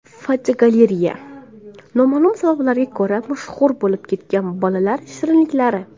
Fotogalereya: Noma’lum sabablarga ko‘ra mashhur bo‘lib ketgan bolalar shirinliklari.